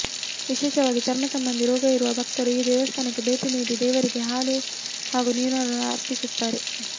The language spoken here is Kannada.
ವಿಶೇಷವಾಗಿ ಚರ್ಮ ಸಂಬಂಧಿ ರೋಗ ಇರುವ ಭಕ್ತರು ಈ ದೇವಸ್ಥಾನಕ್ಕೆ ಭೇಟಿ ನೀಡಿ ದೇವರಿಗೆ ಹಾಲು ಹಾಗೂ ನೀರನ್ನು ಅರ್ಪಿಸುತ್ತಾರೆ